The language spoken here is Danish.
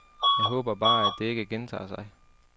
Jeg håber bare, at det ikke gentager sig.